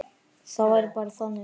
Það væri bara þannig.